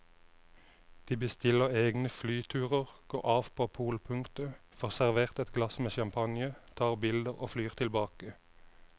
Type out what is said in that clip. De bestiller egne flyturer, går av på polpunktet, får servert et glass med champagne, tar bilder og flyr tilbake.